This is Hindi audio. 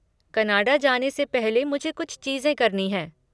कनाडा जाना से पहले मुझे कुछ चीज़ें करनी हैं।